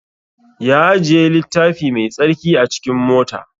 Ya ajiye littafi mai tsarki a cikin mota